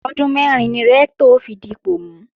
Ọdún mẹ́rin ni Rẹ́ktọ̀ ó fi dipọ̀ mú